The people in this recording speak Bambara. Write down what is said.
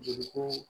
Jeliko